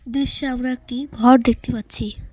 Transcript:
দৃশ্যে আমরা একটি ঘর দেখতে পাচ্ছি।